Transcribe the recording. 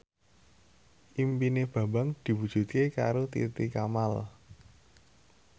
impine Bambang diwujudke karo Titi Kamal